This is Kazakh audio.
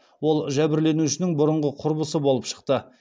ол жәбірленушінің бұрынғы құрбысы болып шықты